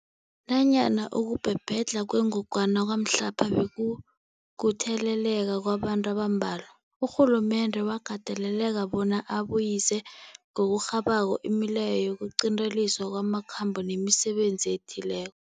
Nanyana ukubhebhedlha kwengogwana kwamhlapha bekukutheleleka kwabantu abambalwa, urhulumende wakateleleka bona abuyise ngokurhabako imileyo yokuqinteliswa kwamakhambo nemisebenzi ethile